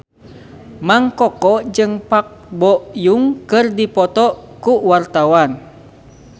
Mang Koko jeung Park Bo Yung keur dipoto ku wartawan